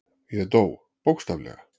Ég dó, bókstaflega.